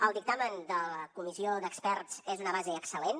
el dictamen de la comissió d’experts és una base excel·lent